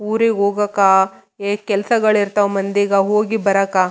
ಊರಿಗ್ ಹೋಗಾಕ ಈ ಕೆಲ್ಸಗಳಿರ್ತಾವ ಮಂದಿ ಹೋಗಿ ಬರಾಕ.